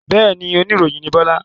Bẹ́ẹ̀ni, oníròyìn ni Bọ́lá.